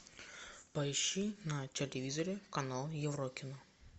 поищи на телевизоре канал еврокино